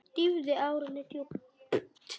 Dýfði árinni djúpt.